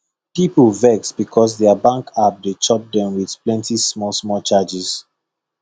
people vex because their bank app dey chop them with plenty smallsmall charges